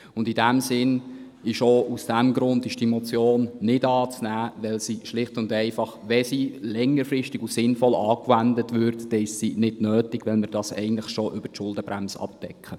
Und aus diesem Grund ist die Motion nicht anzunehmen, weil sie schlicht und einfach, wenn sie längerfristig und sinnvoll anwendet wird, dann nicht nötig ist, weil wir dies schon über die Schuldenbremse abdecken.